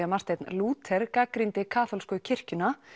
að Marteinn Lúther gagnrýndi kaþólsku kirkjuna